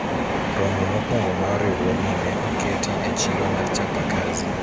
romo mokwrongo mar riwruogni ne oketi e chiro mar chapakazi